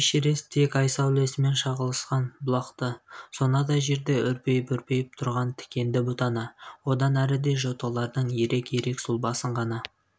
эшерест тек ай сәулсімен шағылысқан бұлақты сонадай жерде үрпиіп-үрпиіп тұрған тікенді бұтаны одан әріде жоталардың ирек-ирек сұлбасын ғана